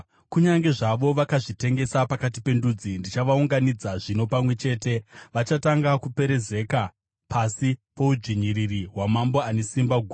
Kunyange zvavo vakazvitengesa pakati pendudzi, ndichavaunganidza zvino pamwe chete. Vachatanga kuperezeka pasi poudzvinyiriri hwamambo ane simba guru.